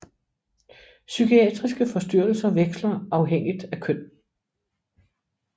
Psykiatriske forstyrrelser veksler afhængigt af køn